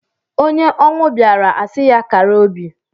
Onye ọnwụ bịaara a sị ya kara obi.